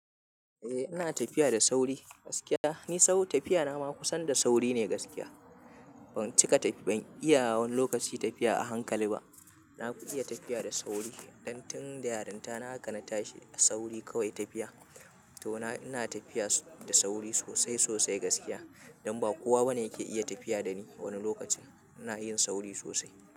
Eh ina tafiya da sauri gaskiya. Ni sau tafiya na ma kusan da sauri ne gaskiya. Ban cika tafiya, ban iya wani lokaci tafiya a hankali ba. Na fi iya tafiya da sauri. Dan tun da yarinta na hakan tashi a sauri kawai tafiya. To ina tafiya da sauri sosai sosai gaskiya. Don ba kowa bane yake iya tafiya da ni wani lokacin. Ina yin sauri sosai.